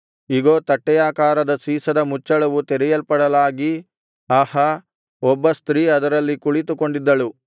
ಇಗೋ ತಟ್ಟೆಯಾಕಾರದ ಸೀಸದ ಮುಚ್ಚಳವು ತೆರೆಯಲ್ಪಡಲಾಗಿ ಆಹಾ ಒಬ್ಬ ಸ್ತ್ರೀ ಅದರಲ್ಲಿ ಕುಳಿತುಕೊಂಡಿದ್ದಳು